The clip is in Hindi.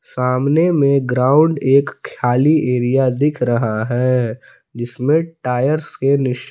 सामने में ग्राउंड एक खाली एरिया दिख रहा है जिसमें टायर्स के निश--